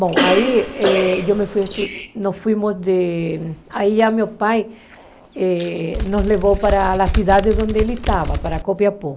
Bom, eh aí eu me fui, nós fomos de... Aí já meu pai nos levou para a cidade onde ele estava, para Copiapó.